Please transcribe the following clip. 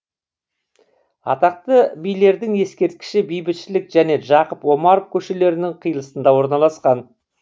атақты билердің ескерткіші бейбітшілік және жақып омаров көшелерінің қиылысында орналасқан